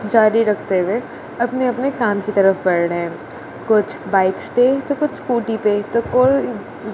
जारी रखते हुए अपने अपने काम की तरफ बढ़ रहे कुछ बाइक्स पे तो कुछ स्कूटी पे तो को--